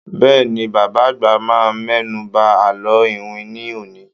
Bẹ́ẹ̀ni, Bàbá àgbà máa mẹ́nu ba àlọ́ iwin ní òní.